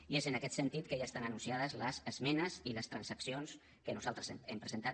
i és en aquest sentit que ja estan anunciades les esmenes i les transaccions que nosaltres hem presentat